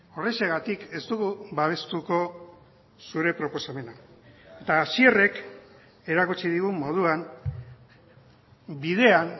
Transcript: horrexegatik ez dugu babestuko zure proposamena eta hasierrek erakutsi digun moduan bidean